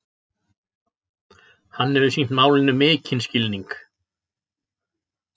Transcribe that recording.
Hann hefur sýnt málinu mikinn skilning